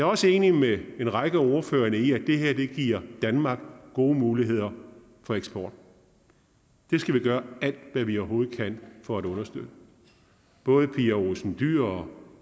også enig med en række af ordførerne i at det her giver danmark gode muligheder for eksport det skal vi gøre alt hvad vi overhovedet kan for at understøtte både pia olsen dyhr og